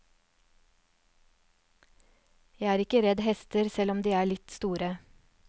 Jeg er ikke redd hester selv om de er litt store.